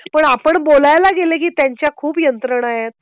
पण आपण बोलाय ला गेलं की त्यांच्या खूप यंत्रणा आहेत